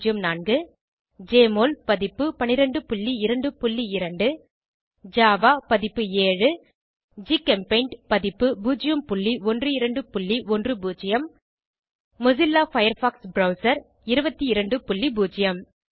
1204 JMOL பதிப்பு 1222 Java பதிப்பு 7 GChemPaint பதிப்பு 01210 மொசில்லா ஃபயர்பாக்ஸ் ப்ரெளசர் 220